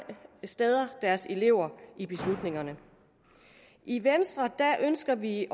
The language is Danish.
steder deres elever i beslutningerne i venstre ønsker vi